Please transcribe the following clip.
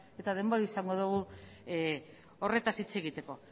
eta denbora izango dugu horretaz hitz egiteko